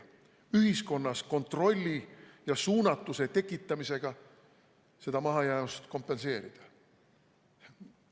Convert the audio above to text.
Me proovime ühiskonnas kontrolli ja suunatuse tekitamisega seda mahajäämust kompenseerida.